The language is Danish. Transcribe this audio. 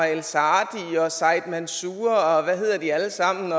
el saadi og said mansour og og hvad de alle sammen